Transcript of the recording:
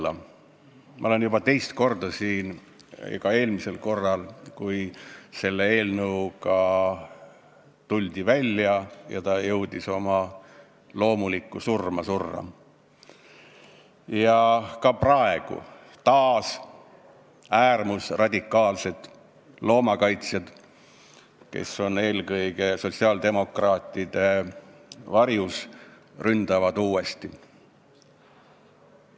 Ma olen siin samal põhjusel juba teist korda, olin ka eelmisel korral, kui selle eelnõuga välja tuldi ja see jõudis oma loomulikku surma surra, ning olen ka praegu, kui äärmusradikaalsed loomakaitsjad, eelkõige sotsiaaldemokraatide varjus, ründavad uuesti.